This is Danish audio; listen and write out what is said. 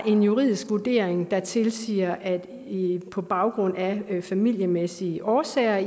en juridisk vurdering der tilsiger at på baggrund af familiemæssige årsager